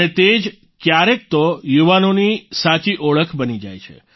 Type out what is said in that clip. અને તે જ ક્યારેક તો યુવાનોની સાચી ઓળખ બની જાય છે